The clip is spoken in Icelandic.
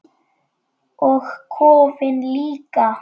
Og kofinn líka!